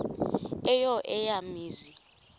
eyo eya mizi